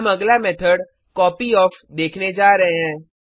हम अगला method copy of देखने जा रहे हैं